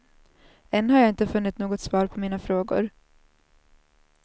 Än har jag inte funnit något svar på mina frågor.